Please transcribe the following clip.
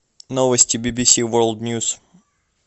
новости би би си ворлд ньюс